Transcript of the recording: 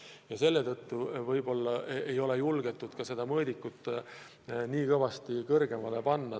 Ja selle tõttu võib-olla ei ole julgetud seda sihttaset kõvasti tõsta.